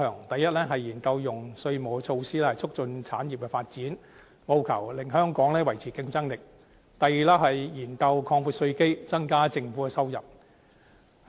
第一，研究用稅務措施，促進產業發展，務求令香港維持競爭力；第二，研究擴闊稅基，增加政府的收入。